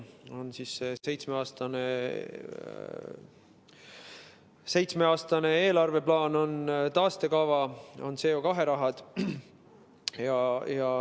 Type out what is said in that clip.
On seitsmeaastane eelarveplaan, on taastekava, on CO2 raha.